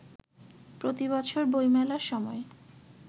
প্রতিবছর বইমেলার সময়